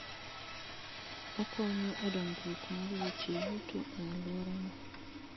Okonyo e dongruok mar weche yuto e alworano.